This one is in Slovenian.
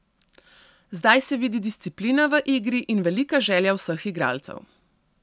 Zdaj se vidi disciplina v igri in velika želja vseh igralcev.